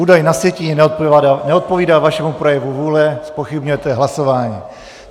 Údaj na sjetině neodpovídá vašemu projevu vůle, zpochybňujete hlasování.